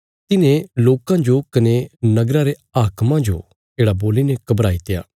तिन्हें लोकां जो कने नगरा रे हाक्मां जो येढ़ा बोलीने घबराई त्या